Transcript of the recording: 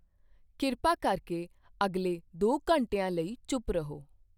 ਕਿਰਪਾ ਕਰਕੇ ਅਗਲੇ ਦੋ ਘੰਟਿਆਂ ਲਈ ਚੁੱਪ ਰਹੋ।